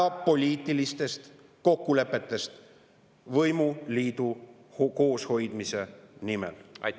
… päevapoliitilistest kokkulepetest võimuliidu kooshoidmise nimel.